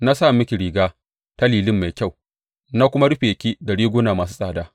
Na sa miki riga ta lilin mai kyau na kuma rufe ki da riguna masu tsada.